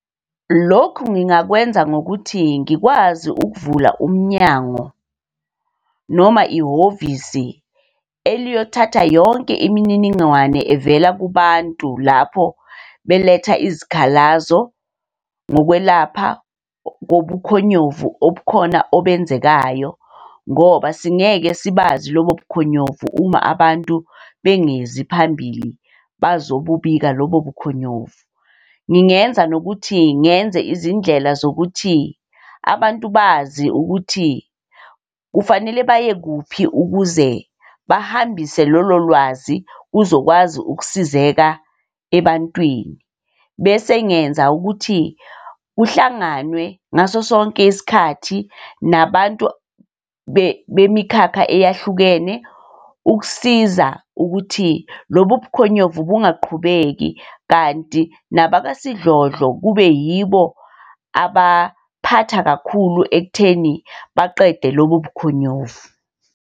Lokhu ngingakwenza ngokuthi ngikwazi ukuvula umnyango noma ihhovisi eliyothatha yonke imininingwane evela kubantu lapho beletha izikhalazo ngokwelapha kobukhonyovu obukhona obenzekayo. Ngoba singeke sibazi lobo bukhonyovu uma abantu bengezi phambili bazobubika lobo bukhonyovu. Ngingenza nokuthi ngenze izindlela zokuthi abantu bazi ukuthi kufanele baye kuphi ukuze bahambise lolo lwazi kuzokwazi ukusizeka ebantwini. Bese ngenza ukuthi kuhlanganwe ngaso sonke isikhathi nabantu bemikhakha eyahlukene ukusiza ukuthi lobu bukhonyovu bungaqhubeki kanti nababasidlodlo kube yibo abaphatha kakhulu ekutheni baqede lobu bukhonyovu.